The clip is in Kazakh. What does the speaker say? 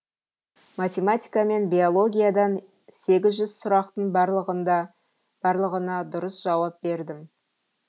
математика мен биологиядан сегіз жүз сұрақтың барлығына дұрыс жауап бердім